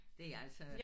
Det er altså